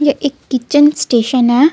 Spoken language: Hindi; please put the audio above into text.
ये एक किचन स्टेशन है.